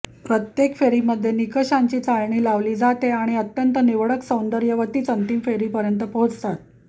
प्रत्येक फेरीमध्ये निकषांची चाळणी लावली जाते आणि अत्यंत निवडक सौंदर्यवतीच अंतिम फेरीपर्यंत पोहोचतात